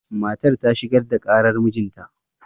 matar ta shigar da ƙarar mijinta